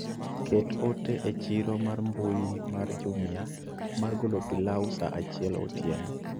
Ket ote echiro mar mbui mar jumia mar golo pilau sa achiel otieno